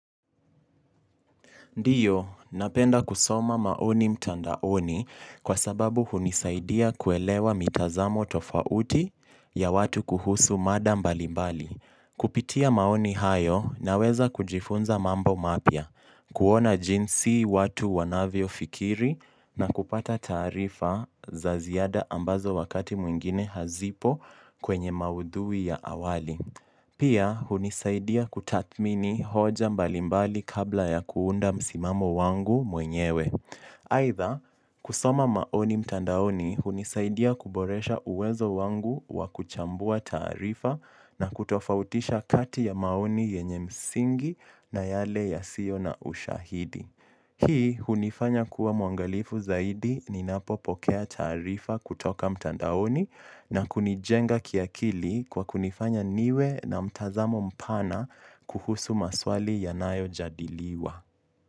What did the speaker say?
Ndiyo, napenda kusoma maoni mtandaoni kwa sababu hunisaidia kuelewa mitazamo tofauti ya watu kuhusu mada mbalimbali. Kupitia maoni hayo na weza kujifunza mambo mapya, kuona jinsi watu wanavyo fikiri na kupata taarifa za ziada ambazo wakati mwingine hazipo kwenye maudhui ya awali. Pia, hunisaidia kutathmini hoja mbalimbali kabla ya kuunda msimamo wangu mwenyewe. Aitha, kusoma maoni mtandaoni hunisaidia kuboresha uwezo wangu wakuchambua taarifa na kutofautisha kati ya maoni yenye msingi na yale ya sio na ushahidi. Hii hunifanya kuwa mwangalifu zaidi ni napopokea taarifa kutoka mtandaoni na kunijenga kiakili kwa kunifanya niwe na mtazamo mpana kuhusu maswali yanayo jadiliwa.